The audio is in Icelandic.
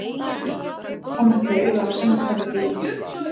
Kom ekki auga á sendiferðabílinn.